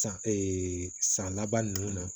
San san laban nunnu na